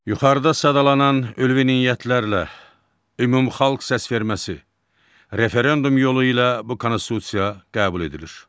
Yuxarıda sadalanan ülvi niyyətlərlə ümumxalq səsverməsi, referendum yolu ilə bu konstitusiya qəbul edilir.